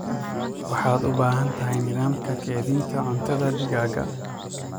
Waxaad u baahan tahay nidaamka kaydinta cuntada digaaga.